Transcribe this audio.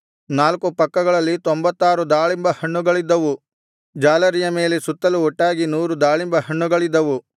ನಾಲ್ಕು ಪಕ್ಕಗಳಲ್ಲಿ ತೊಂಭತ್ತಾರು ದಾಳಿಂಬ ಹಣ್ಣುಗಳಿದ್ದವು ಜಾಲರಿಯ ಮೇಲೆ ಸುತ್ತಲೂ ಒಟ್ಟಾಗಿ ನೂರು ದಾಳಿಂಬ ಹಣ್ಣುಗಳಿದ್ದವು